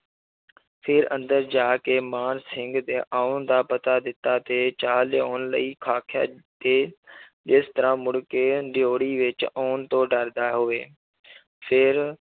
ਫਿਰ ਅੰਦਰ ਜਾ ਕੇ ਮਾਨ ਸਿੰਘ ਦੇ ਆਉਣ ਦਾ ਪਤਾ ਦਿੱਤਾ ਤੇ ਚਾਹ ਲਿਆਉਣ ਲਈ ਆਖਿਆ ਤੇ ਜਿਸ ਤਰ੍ਹਾਂ ਮੁੜ ਕੇ ਦਿਓੜੀ ਵਿੱਚ ਆਉਣ ਤੋਂ ਡਰਦਾ ਹੋਵੇ ਫਿਰ